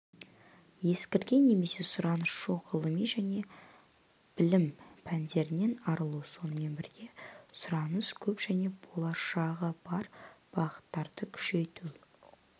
ескірген немесе сұраныс жоқ ғылыми және білім пәндерінен арылу сонымен бірге сұраныс көп және болашағы бар бағыттарды күшейту